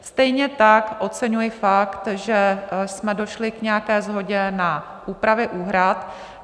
Stejně tak oceňuji fakt, že jsme došli k nějaké shodě na úpravě úhrad.